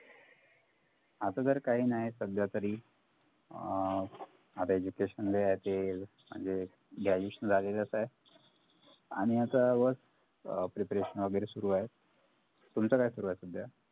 आता तरी काही नाही सध्या तरी अं आता education लाई आहे ते म्हणजे graduation झालेलंच हाय आणि आता बस preparation वैगेरे सुरु आहे तुमचं काय सुरु आहे सध्या?